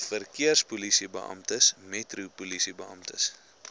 verkeerspolisiebeamptes metro polisiebeamptes